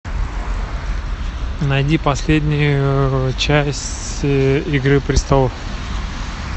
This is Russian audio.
найди последнюю часть игры престолов